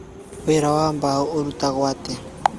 Wĩra wa mbaũ ũrutagwo atĩa?